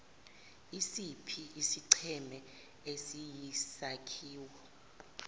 isiphi isigceme esiyisakhiwo